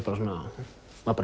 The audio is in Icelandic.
var